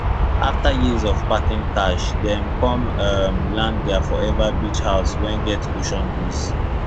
after years of packing cash dem come um land their forever beach house wey get ocean breeze